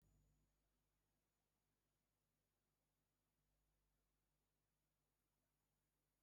Kedu mgbe ndị ikom ahụ ga-emeghe oghere ahụ?